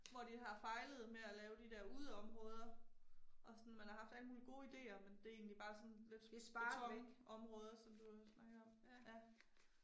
Hvor de har fejlet med at lave de der udeområder og sådan man har haft alle mulige gode ideer men det er egentlig bare sådan lidt, betonområder, som du jo også snakkede om, ja